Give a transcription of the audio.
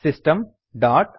system dot